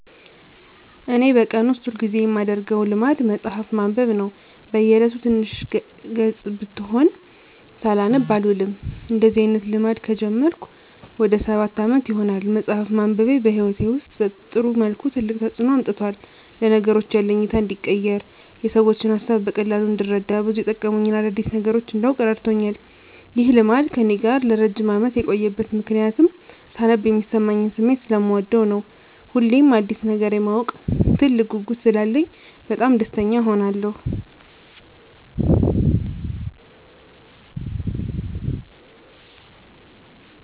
እኔ በቀን ውስጥ ሁል ጊዜ የማደረገው ልማድ መጽሀፍ ማንበብ ነው። በ እየለቱ ትንሽም ገፅ ብትሆን ሳላነብ አልውልም። እንደዚህ አይነት ልማድ ከጀመርኩ ወደ ሰባት አመት ይሆናል። መፅሃፍ ማንበቤ በህይወቴ ውስጥ በጥሩ መልኩ ትልቅ ተፅዕኖ አምጥቷል። ለነገሮች ያለኝ እይታ እንዲቀየር፣ የሰዎችን ሀሳብ በቀላሉ እንድረዳ፣ ብዙ የመጠቅሙኝን አዳዲስ ነገሮች እንዳውቅ እረድቶኛል። ይህ ልማድ ከእኔ ጋር ለረጅም አመት የቆየበት ምክንያትም ሳነብ የሚሰማኝን ስሜት ሰለምወደው ነው። ሁሌም አዲስ ነገር የማወቅ ትልቅ ጉጉት ስላለኝ በጣም ደስተኛ እሆናለሁ።